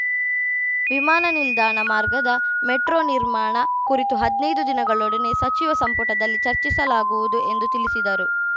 ವಿಮಾನ ನಿಲ್ದಾಣ ಮಾರ್ಗದ ಮೆಟ್ರೋ ನಿರ್ಮಾಣ ಕುರಿತು ಹದ್ನೈದು ದಿನದೊಳಗೆ ಸಚಿವ ಸಂಪುಟದಲ್ಲಿ ಚರ್ಚಿಸಲಾಗುವುದು ಎಂದು ತಿಳಿಸಿದರು